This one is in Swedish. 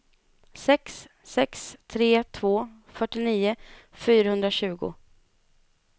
sex sex tre två fyrtionio fyrahundratjugo